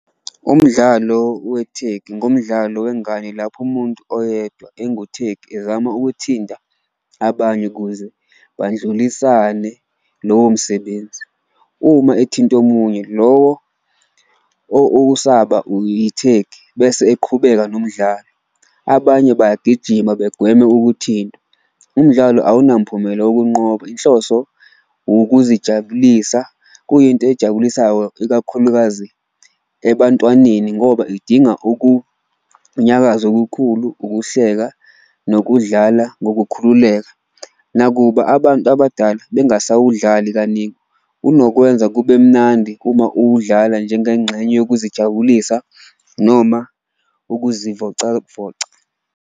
Umdlalo wethegi ngumdlalo wengane lapho umuntu oyedwa enguthegi ezama ukuthinta abanye kuze bandlulisane lowo msebenzi, uma ethinta omunye lowo osaba yithegi bese eqhubeka nomdlalo, abanye bayagijima begweme ukuthintwa. Umdlalo awunamphumela ukunqoba inhloso wukuzijabulisa kuyinto ejabulisayo ikakhulukazi ebantwaneni ngoba idinga ukunyakaza okukhulu, ukuhleka, nokudlala ngokukhululeka. Nakuba abantu abadala bengasawudlali kaningi unokwenza kube mnandi uma uwudlala njengengxenye yokuzijabulisa noma ukuzivocavoca.